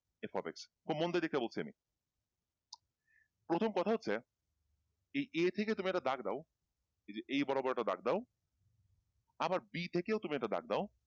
f of x তো মন দিয়ে দেখতে বলছি আমি প্রথম কথা হচ্ছে এই a থেকে তুমি একটা দাগ দাও এই যে এই বরাবর একটা দাগ দাও আবার b থেকেও তুমি একটা দাগ দাও।